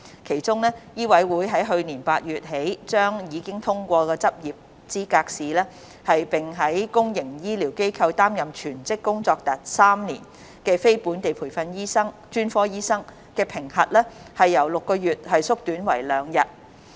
其中，醫委會在去年8月起將已通過執業資格試，並於公營醫療機構擔任全職工作達3年的非本地培訓專科醫生的評核期由6個月縮短為2日。